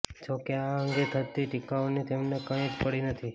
જોકે આ અંગે થતી ટીકાઓની તેમને કંઈ જ પડી નથી